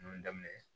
Nunnu daminɛ